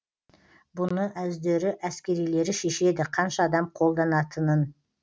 бұны өздері әскерилері шешеді қанша адам қолданатынын